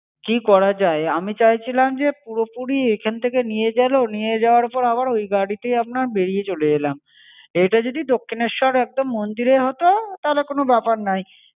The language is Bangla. কি করা যায়? আমি চাইছিলাম, যে পুরোপুরি এখান থেকে নিয়ে গেলো, নিয়ে যাবার পর আবার ওই গাড়িতেই আপনার বেরিয়ে চলে এলাম। এটা যদি দক্ষিণেশ্বর একদম মন্দিরে হত তাহলে কোনো ব্যাপার নাই।